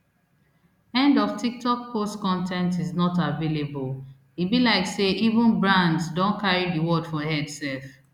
end of tiktok post con ten t is not available e be like say even brands don carry di word for head sef